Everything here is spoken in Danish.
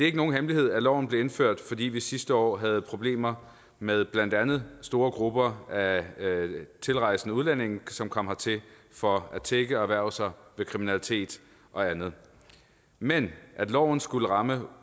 ikke nogen hemmelighed at loven blev indført fordi vi sidste år havde problemer med blandt andet store grupper af tilrejsende udlændinge som kom hertil for at tigge og erhverve sig ved kriminalitet og andet men at loven skulle ramme